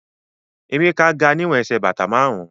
Emeka ga niwon ẹsẹ̀ bata márùn-ún